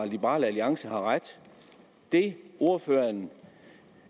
liberal alliance har ret det ordføreren